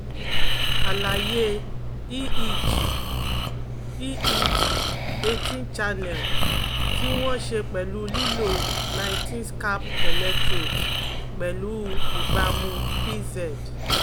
Alaye EEG EEG eighteen Channel ti won sepelu lilo nineteen scalp electrodes pelu ibamu PZ